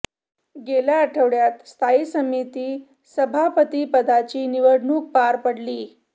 गेल्या आठवड्यात स्थायी समिती सभापतीपदाची निवडणूक पार पडली